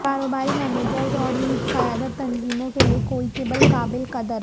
کاروباری مینیجرز اور ان کی قیادت تنظیموں کے لئے کوئٹبل قابل قدر